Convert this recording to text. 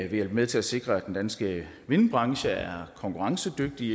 vil hjælpe med til at sikre at den danske vindbranche er konkurrencedygtig